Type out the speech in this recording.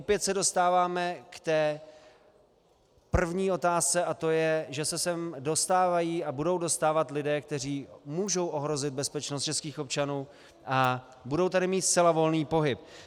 Opět se dostáváme k té první otázce a to je, že se sem dostávají a budou dostávat lidé, kteří můžou ohrozit bezpečnost českých občanů a budou tady mít zcela volný pohyb.